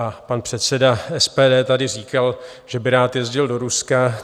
A pan předseda SPD tady říkal, že by rád jezdil do Ruska.